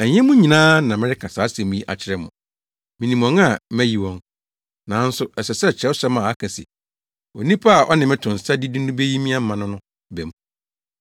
“Ɛnyɛ mo nyinaa na mereka saa asɛm yi akyerɛ mo, minim wɔn a mayi wɔn. Nanso ɛsɛ sɛ Kyerɛwsɛm a ɛka se, ‘Onipa a ɔne me to nsa didi no beyi me ama’ no ba mu.